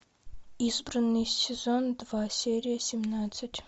избранный сезон два серия семнадцать